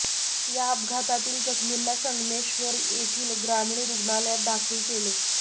या अपघातातील जखमींना संगमेश्वर येथील ग्रामीण रुग्णालयात दाखल केले